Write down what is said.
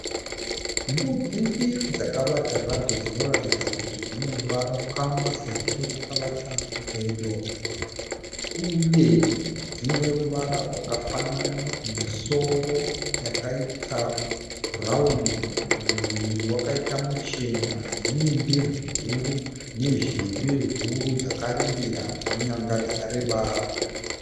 Mbudzi mbiri dzakavata zvadzo dzinoratidza kuti dzine ukama sezvo dzakavata pedo. Uye dziine ruvara rwakafanana, misoro yakaita bruwani, muviri wakaita muchena. Dzine ndebvu huru nezheve huru, dzakarembera nenyanga dzakareba.